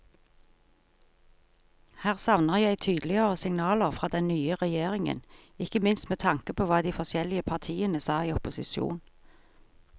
Her savner jeg tydeligere signaler fra den nye regjeringen, ikke minst med tanke på hva de forskjellige partiene sa i opposisjon.